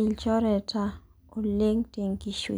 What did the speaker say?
ilchoreta oleng tenkishui.